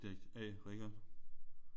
Subjekt A Richard